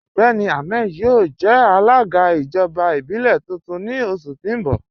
Ọgbẹ́ni Ahmed yọo jẹ̀ alaga ijọba ibilẹ̀ tuntun ni oṣù ti n bọ̀.